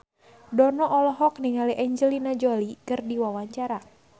Dono olohok ningali Angelina Jolie keur diwawancara